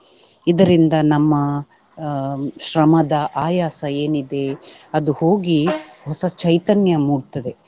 ಇದರಿಂದ ನಮ್ಮ ಅಹ್ ಶ್ರಮದ ಆಯಾಸ ಏನಿದೆ ಅದು ಹೋಗಿ ಹೊಸ ಚೈತನ್ಯ ಮೂಡ್ತದೆ.